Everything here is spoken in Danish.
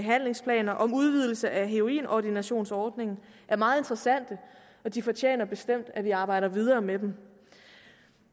behandlingsplaner og om udvidelse af heroinordinationsordningen er meget interessante og de fortjener bestemt at vi arbejder videre med dem